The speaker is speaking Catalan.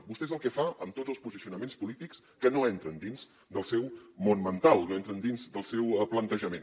vostè és el que fa amb tots els posicionaments polítics que no entren dins del seu món mental no entren dins del seu plantejament